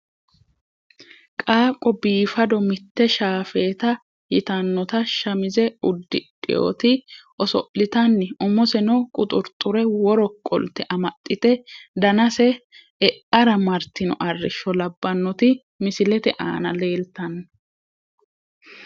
Qaaqo biifado mite shaafeta yitanota shamize udidhewoti osolitani umoseno quxurxure woro qolte amaxite danase e`ara martino arisho labanoti misilete aana leltano.